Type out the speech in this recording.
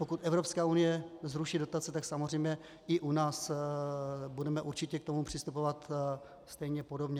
Pokud Evropská unie zruší dotace, tak samozřejmě i u nás budeme určitě k tomu přistupovat stejně podobně.